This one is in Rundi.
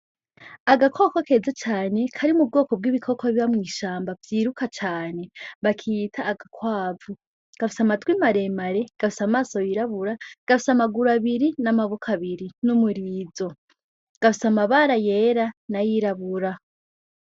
Agakoko keza cane kari mu bwoko bw'ibikoko biba mw'ishamba vyiruka cane bakiyita agakwavu gafisa amatwi maremare gafisa amaso yirabura gafisa amaguru abiri n'amabuko abiri n'umurizo gafisa amabara yera na yirabura.